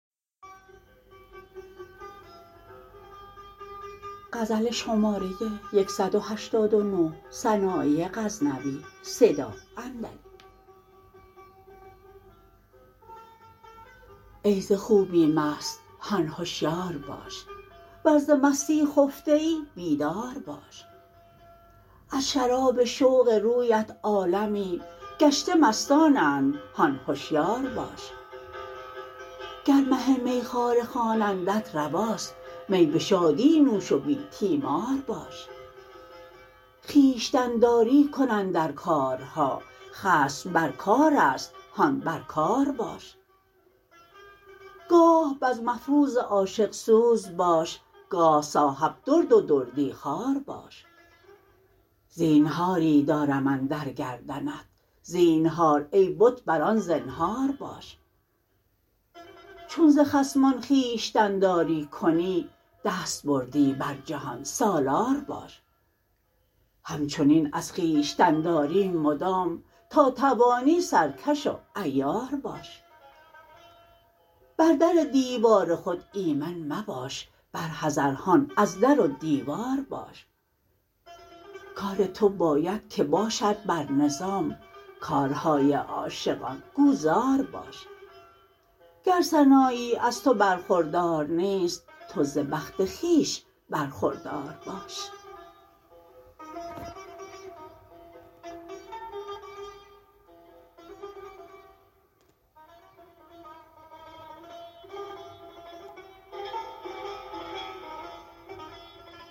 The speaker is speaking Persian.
ای ز خوبی مست هان هشیار باش ور ز مستی خفته ای بیدار باش از شراب شوق رویت عالمی گشته مستانند هان هشیار باش گر مه میخواره خوانندت رواست می به شادی نوش و بی تیمار باش خویشتن داری کن اندر کارها خصم بر کارست هان بر کار باش گاه بزم افروز عاشق سوز باش گاه صاحب درد و دردی خوار باش زینهاری دارم اندر گردنت زینهار ای بت بران زنهار باش چون ز خصمان خویشتن داری کنی دستبردی بر جهان سالار باش هم چنین از خویشتن داری مدام تا توانی سر کش و عیار باش بر در دیوار خود ایمن مباش بر حذر هان از در و دیوار باش کار تو باید که باشد بر نظام کارهای عاشقان گو زار باش گر سنایی از تو برخوردار نیست تو ز بخت خویش برخوردار باش